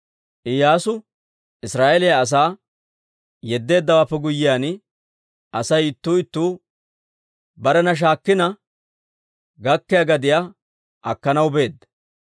Iyyaasu Israa'eeliyaa asaa yeddeeddawaappe guyyiyaan, Asay ittuu ittuu barena shaakkina gakkiyaa gadiyaa akkanaw beedda.